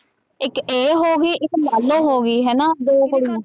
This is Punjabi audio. ਇੱਕ ਇਹ ਹੋ ਗਈ ਇੱਕ ਲਾਲੋ ਹੋ ਗਈ ਹਨਾ ਦੋ ਕੁੜੀਆਂ।